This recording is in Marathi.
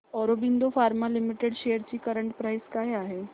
ऑरबिंदो फार्मा लिमिटेड शेअर्स ची करंट प्राइस काय आहे